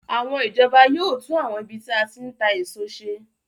Àwọn ìjọba yóò tún àwọn ibi tí a ti ń ta èso ṣe